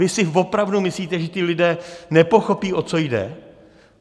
Vy si opravdu myslíte, že ti lidé nepochopí, o co jde?